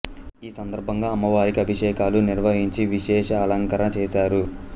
ఈ సందర్భంగా అమ్మవారికి అభిషేకాలు నిర్వహించి విశేష అలంకరణ చేసారు